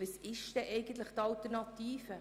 Was ist denn eigentlich die Alternative?